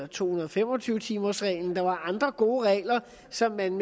to hundrede og fem og tyve timersreglen der var andre gode regler som man